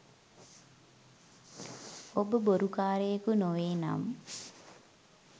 ඔබ බොරු කාරයෙකු නොවේ නම්